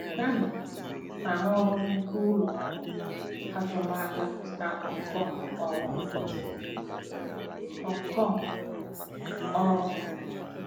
Danny * na-arụrụ nnukwu ụlọ ọrụ azụmaahịa na Hong Kong ọrụ. Hong Kong ọrụ.